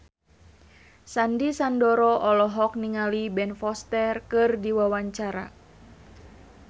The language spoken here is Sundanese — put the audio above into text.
Sandy Sandoro olohok ningali Ben Foster keur diwawancara